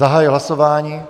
Zahajuji hlasování.